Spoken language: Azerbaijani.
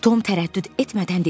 Tom tərəddüd etmədən dedi: